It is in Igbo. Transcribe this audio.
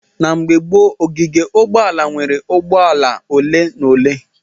Na mgbe gboo, ogige ụgbọala nweere ụgbọ ala ole na ole.